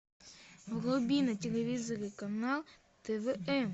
вруби на телевизоре канал твм